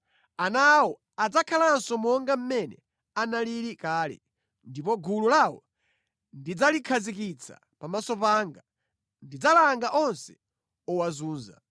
Ana awo adzakhalanso monga mmene analili kale, ndipo gulu lawo ndidzalikhazikitsa pamaso panga; ndidzalanga onse owazunza.